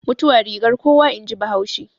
Mutuwa rigar kuwa in ji bahaushe